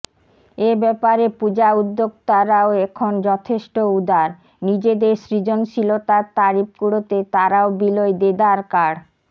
এব্যাপারে পুজো উদ্যোক্তারাও এখন যথেষ্ট উদার নিজেদের সৃজন শীলতার তারিফ কুড়োতে তারাও বিলোয় দেদার কার্ড